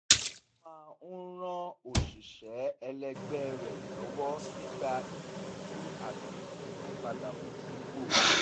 ó máa ń ràn òṣìṣẹ́ ẹlẹgbẹ́ rẹ̀ lọ́wọ́ nígbà ìtọ́jú àti ìmúpadàbọ̀sípò